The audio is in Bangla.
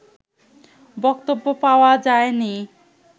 বক্তব্য পাওয়া যায়নি